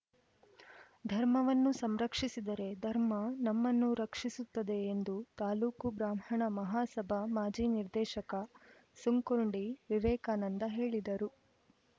ಧರ್ಮವನ್ನು ಸಂರಕ್ಷಿಸಿದರೆ ಧರ್ಮ ನಮ್ಮನ್ನು ರಕ್ಷಿಸುತ್ತದೆ ಎಂದು ತಾಲೂಕು ಬ್ರಾಹ್ಮಣ ಮಹಾಸಭಾ ಮಾಜಿ ನಿರ್ದೇಶಕ ಸುಂಕುರ್ಡಿ ವಿವೇಕಾನಂದ ಹೇಳಿದರು